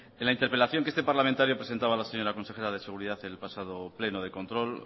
en la interpelación que este parlamentario presentaba a la señora consejera de seguridad en el pasado pleno de control